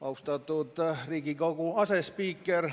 Austatud Riigikogu asespiiker!